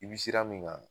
I bi sira min kan